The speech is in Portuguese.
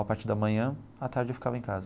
Na parte da manhã a tarde eu ficava em casa.